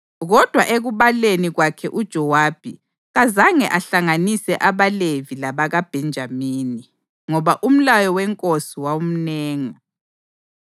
Kodwa ekubaleni kwakhe uJowabi kazange ahlanganise abaLevi labakaBhenjamini, ngoba umlayo wenkosi wawumnenga.